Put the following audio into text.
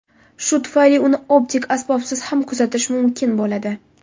Shu tufayli uni optik asbobsiz ham kuzatish mumkin bo‘ladi.